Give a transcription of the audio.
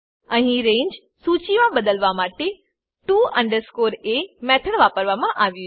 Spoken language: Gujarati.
અહી રંગે સૂચીમા બદલવા માટે to a મેથડ વાપરવામા આવ્યું છે